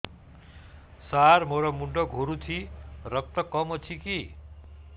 ସାର ମୋର ମୁଣ୍ଡ ଘୁରୁଛି ରକ୍ତ କମ ଅଛି କି